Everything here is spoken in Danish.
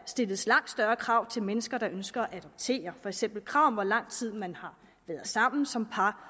stilles langt større krav til mennesker der ønsker at adoptere det for eksempel krav om hvor lang tid man har været sammen som par